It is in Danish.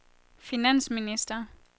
finansminister